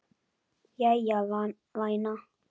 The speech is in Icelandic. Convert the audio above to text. Jæja, væna.